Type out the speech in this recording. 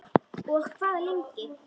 Og hvað lengi?